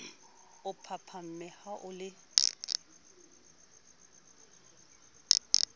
o phaphame ha o le